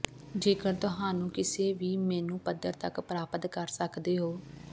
ਜੇਕਰ ਤੁਹਾਨੂੰ ਕਿਸੇ ਵੀ ਮੇਨੂ ਪੱਧਰ ਤੱਕ ਪ੍ਰਾਪਤ ਕਰ ਸਕਦੇ ਹੋ